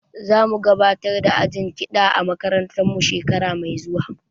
Za mu gabatar da ajin kiɗa a makarantar mu shekara mai zuwa